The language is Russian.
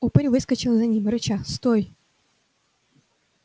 упырь выскочил за ним рыча стой